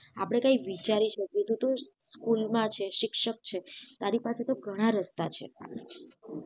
આપડે કઈ વિચારી શકીએ તું school માં છે શિક્ષક છે તારા પાસે તો ઘણા રસ્તા છે